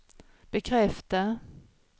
bekräfta